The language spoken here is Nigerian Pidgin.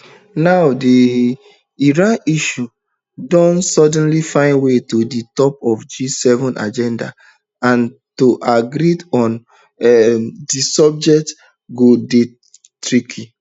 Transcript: now di um iran issue don suddenly find way to di top of di gseven agenda and to agree on um dis subject go dey tricky